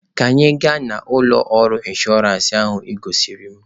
Ka anyị gaa na ụlọ ọrụ inshọransị ahụ ị gosiri m!